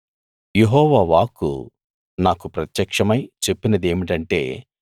యెహోవా వాక్కు నాకు ప్రత్యక్షమై చెప్పినదేమిటంటే